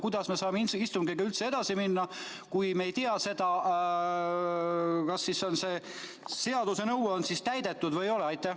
Kuidas me saame siis istungiga edasi minna, kui me ei tea, kas see seaduse nõue on täidetud või ei ole?